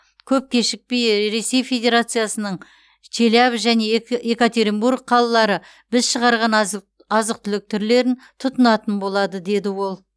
көп кешікпей ресей федерациясының челябі және екатеринбург қалалары біз шығарған азық түлік түрлерін тұтынатын болады деді ол